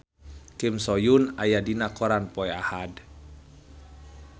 Kim So Hyun aya dina koran poe Ahad